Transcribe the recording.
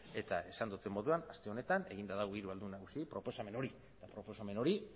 eta esan dudan moduan aste honetan eginda dago hiru ahaldun nagusiei proposamen hori eta proposamen hori